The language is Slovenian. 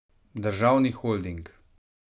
Državni holding.